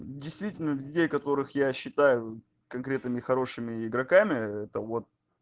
действительно людей которых я считаю конкретными хорошими игроками это вот